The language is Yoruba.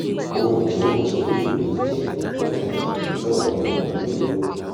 óúnjẹ ò kí ń wù mí í jẹ kódà ìtọ̀ mi ò mọ́ lóló